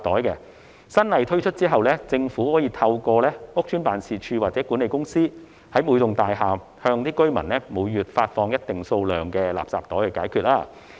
當新法例實施後，政府可以透過屋邨辦事處或管理公司，每個月在每幢大廈向居民發放一定數量的垃圾袋。